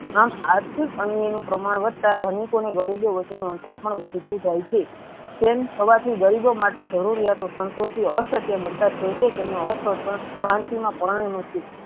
આમ આર્થીક અન્ય નુ પ્રમાણ વધતા ધનિકો ને ગરીબો વચ્ચે નુ અંતર પણ વધતું જાય છે તેમ હોવા થી ગરીબો માટે જરુયાતો સંતો થી અસ્કયા બનતા બનતા પોતે તેમનું અ સતત ક્રાંતિ ના નથી